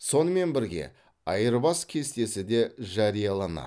сонымен бірге айырбас кестесі де жарияланады